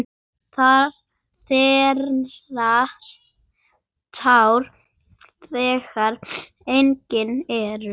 Þerrar tár þegar engin eru.